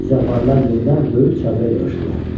Zəvvarlar yenidən böyük çadıra yığışdılar.